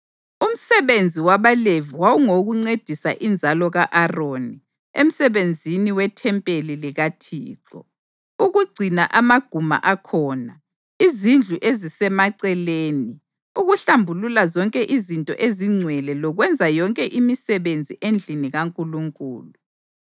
Umsebenzi wabaLevi wawungowokuncedisa inzalo ka-Aroni emsebenzini wethempeli likaThixo: ukugcina amaguma akhona; izindlu ezisemaceleni, ukuhlambulula zonke izinto ezingcwele lokwenza yonke imisebenzi endlini kaNkulunkulu.